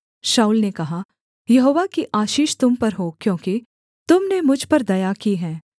शाऊल ने कहा यहोवा की आशीष तुम पर हो क्योंकि तुम ने मुझ पर दया की है